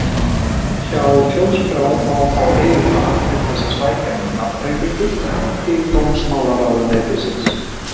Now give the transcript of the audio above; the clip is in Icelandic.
Hjá Þjóðskrá má fá eyðublað til þess að sækja um nafnbreytingu til dómsmálaráðuneytisins.